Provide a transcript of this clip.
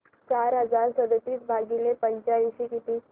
चार हजार सदतीस भागिले पंच्याऐंशी किती